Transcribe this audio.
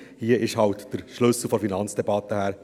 Hier kam der Schlüssel nun eben von der Finanzdebatte her.